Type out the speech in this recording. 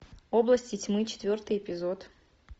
области тьмы четвертый эпизод